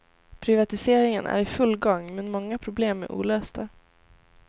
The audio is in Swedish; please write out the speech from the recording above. Privatiseringen är i full gång, men många problem är olösta.